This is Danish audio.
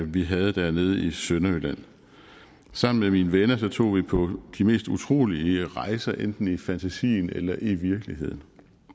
vi havde dernede i sønderjylland sammen med mine venner tog vi på de mest utrolige rejser enten i fantasien eller i virkeligheden